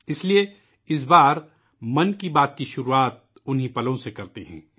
اس لئے اِس مرتبہ '' من کی بات'' کی شروعات ، انہی لمحوں سے کرتے ہیں